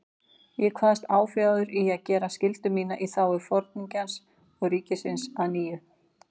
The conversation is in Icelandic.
Ég kvaðst áfjáður í að gera skyldu mína í þágu Foringjans og ríkisins að nýju.